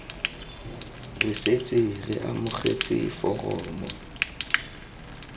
re setse re amogetse foromo